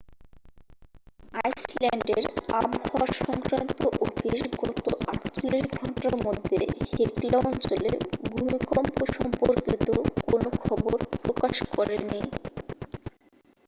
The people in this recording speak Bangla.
আইসল্যান্ডের আবহাওয়া সংক্রান্ত অফিস গত 48 ঘন্টার মধ্যে হেকলা অঞ্চলে ভূমিকম্প সম্পর্কিত কোন খবর প্রকাশ করেনি